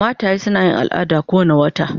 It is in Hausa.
Mataye suna yin al'ada kowane wata.